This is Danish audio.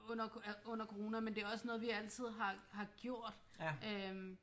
Under corona men det er også noget vi altid har har gjort øh